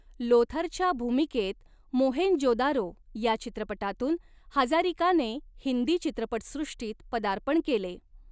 लोथरच्या भूमिकेत मोहेंजो दारो या चित्रपटातून हजारिकाने हिंदी चित्रपटसृष्टीत पदार्पण केले.